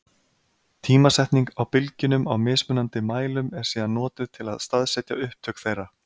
Tímasetning á bylgjunum á mismunandi mælum er síðan notuð til að staðsetja upptök þeirra.